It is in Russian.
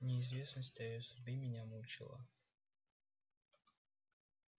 неизвестность о её судьбе меня мучила